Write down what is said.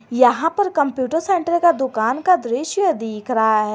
यहां पर computer centre का दुकान का दृश्य दिख रहा है।